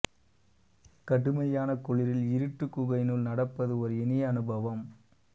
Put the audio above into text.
கடுமையான குளிரில் இருட்டு குகையினுள் நடப்பது ஒரு இனிய அனுபவம்